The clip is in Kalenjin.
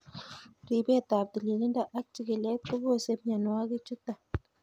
Ripetab tililindo ak chikilet kobose mionwokikchuton .